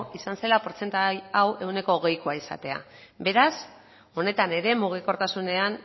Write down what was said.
izan zela portzentai hau ehuneko hogeikoa izatea beraz honetan ere mugikortasunean